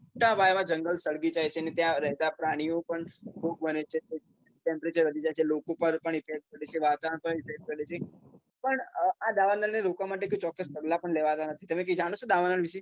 મોટા પાયામાં જંગલ સળગી જાય છે અને ત્યાં રેહતા પ્રાણીઓ પણ ખુબ મરે છે temperature વધી જાય છે લોકો પર પણ effect પડે છે વાતાવરણ પર effect પડે છે પણ આ દાવાનળને રોકવા માટે બી કોઈ ચોક્કસ પગલાં પણ લેવાતાં નથી તમે કઈ જાણો છો દાવાનળ વિશે